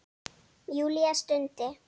Júlía stundi.